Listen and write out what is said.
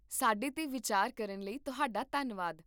ਸਾਡੇ 'ਤੇ ਵਿਚਾਰ ਕਰਨ ਲਈ ਤੁਹਾਡਾ ਧੰਨਵਾਦ